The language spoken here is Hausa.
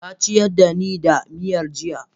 ta ciyar da ni da miyar jiya